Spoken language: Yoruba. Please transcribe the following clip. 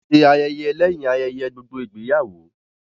Wọ́n ṣé ayẹyẹ lẹ́yìn ayẹyẹ gbogbo ìgbéyàwó